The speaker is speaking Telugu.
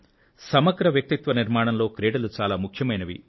సమగ్ర వ్యక్తి నిర్మాణంలో క్రీడలు చాలా ముఖ్యమైనవి